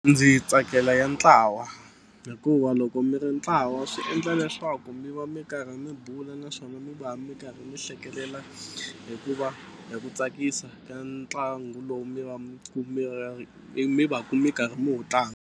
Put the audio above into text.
Ndzi tsakela ya ntlawa hikuva loko mi ri ntlawa swi endla leswaku mi va mi karhi mi bula naswona mi va mi karhi mi hlekelela hikuva hi ku tsakisa ka ntlangu lowu mi va mi mi va ka mi karhi mi wu tlanga.